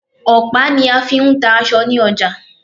Ọ̀pá ní a fí ń ta aṣọ ní ọjà.